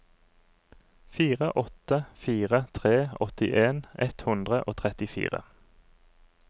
fire åtte fire tre åttien ett hundre og trettifire